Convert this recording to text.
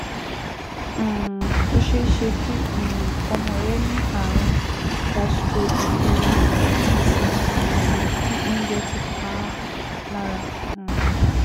um Ó ṣeé ṣe kí um ọmọ rẹ ní ààrùn gastroenteritis tàbí kí oúnjẹ ti pa á lára um